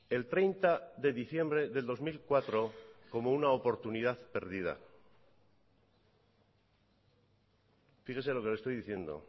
el treinta de diciembre del dos mil cuatro como una oportunidad perdida fíjese lo que le estoy diciendo